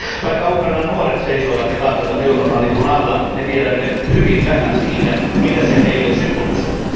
Vaikka Ukrainan nuoret seisoivat ja kaatuivat Euroopan lipun alla, me tiedämme hyvin vähän siitä, mitä se heille symbolisoi.